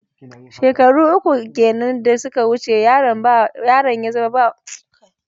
Shekaru uku kenan da suka wuce yaron ya zama wanda ya fi kowa iya buga wassan kwallo.